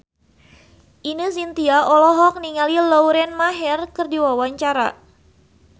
Ine Shintya olohok ningali Lauren Maher keur diwawancara